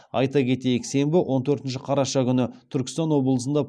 айта кетейік сенбі он төртінші қараша күні түркістан облысында